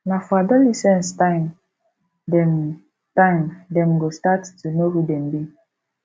na for adolescence time dem time dem go start to know who dem be